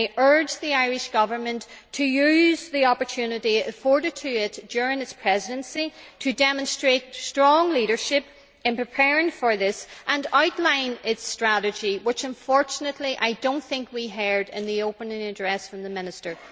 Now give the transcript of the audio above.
I urge the Irish Government to use the opportunity afforded to it during its Presidency to demonstrate strong leadership in preparing for this and to outline its strategy, which unfortunately I do not think we heard in the opening address from the minister.